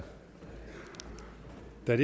det er